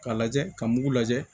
K'a lajɛ ka mugu lajɛ